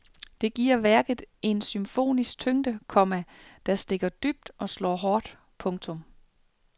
Det giver værket en symfonisk tyngde, komma der stikker dybt og slår hårdt. punktum